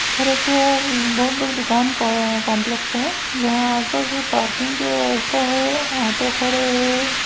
ऐखर एक बहुत बड़े दुकान को अअअ कॉम्प्लेक्स ऐ जहाँ आस-पास पार्किंग के व्यवस्था हे ऑटो खड़े हे।